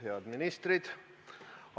Head ministrid!